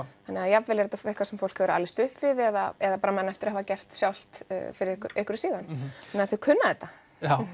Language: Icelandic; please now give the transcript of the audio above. þannig að jafnvel er þetta eitthvað sem fólk hefur alist upp við eða eða man eftir að hafa gert sjálft fyrir einhverju síðan þannig að þau kunna þetta